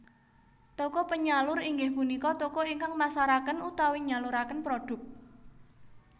Toko penyalur inggih punika toko ingkang masaraken utawi nyaluraken prodhuk